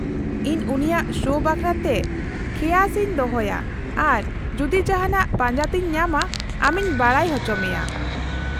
-ᱤᱧ ᱩᱱᱤᱭᱟᱜ ᱥᱳ ᱵᱟᱠᱷᱨᱟᱛᱮ ᱠᱷᱮᱭᱟᱥ ᱤᱧ ᱫᱚᱦᱚᱭᱟ ᱟᱨ ᱡᱩᱫᱤ ᱡᱟᱦᱟᱱᱟᱜ ᱯᱟᱸᱡᱟᱛᱮᱧ ᱧᱟᱢᱟ ᱟᱢᱤᱧ ᱵᱟᱰᱟᱭ ᱪᱚ ᱢᱮᱭᱟ ᱾